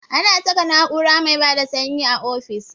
Ana saka na'ura mai bada sanyi a ofis